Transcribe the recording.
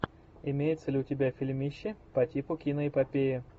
имеется ли у тебя фильмище по типу киноэпопеи